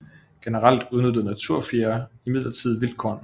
Generelt udnyttede natufiere imidlertid vildt korn